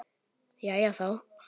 Jæja, þá.